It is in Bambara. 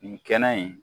Nin kɛnɛ in